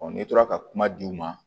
n'i tora ka kuma di u ma